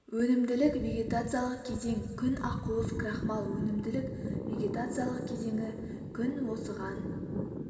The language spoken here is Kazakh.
өнімділік вегетациялық кезең күн ақуыз крахмал өнімділік вегетациялық кезеңі күн осыған